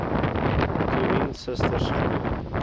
toerien susters glo